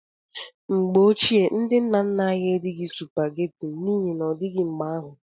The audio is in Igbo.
Mgbe ochie, ndị nna nna anyị erighị supageti n'ihi n'odịghị mgbe ahụ.